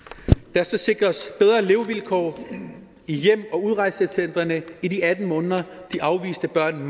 der skal sikres bedre levevilkår i hjem og udrejsecentrene i de atten måneder de afviste børn